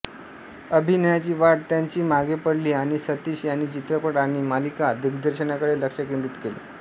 अभिनयाची वाट त्यांची मागे पडली आणि सतीश यांनी चित्रपट आणि मालिका दिग्दर्शनाकडे लक्ष केन्द्रित केले